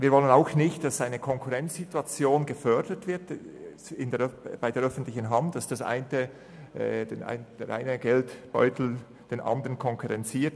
Wir wollen auch nicht, dass eine Konkurrenzsituation innerhalb der öffentlichen Hand gefördert wird und der eine Geldbeutel den andern konkurrenziert.